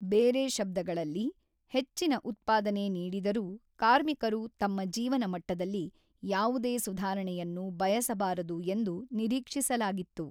ಬೇರೆ ಶಬ್ಧಗಳಲ್ಲಿ, ಹೆಚ್ಚಿನ ಉತ್ಪಾದನೆ ನೀಡಿದರೂ ಕಾರ್ಮಿಕರು ತಮ್ಮ ಜೀವನ ಮಟ್ಟದಲ್ಲಿ ಯಾವುದೇ ಸುಧಾರಣೆಯನ್ನು ಬಯಸಬಾರದು ಎಂದು ನಿರೀಕ್ಷಿಸಲಾಗಿತ್ತು.